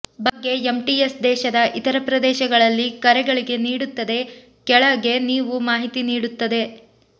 ಬಗ್ಗೆ ಎಂಟಿಎಸ್ ದೇಶದ ಇತರ ಪ್ರದೇಶಗಳಲ್ಲಿ ಕರೆಗಳಿಗೆ ನೀಡುತ್ತದೆ ಕೆಳಗೆ ನೀವು ಮಾಹಿತಿ ನೀಡುತ್ತದೆ